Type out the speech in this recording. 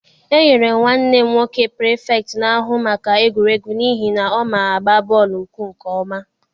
E nyere nwanne m nwoke Pirifetktị na-ahụ maka egwuregwu n'ihi na ọ ma agba bọọlụ ụkwụ nke ọma.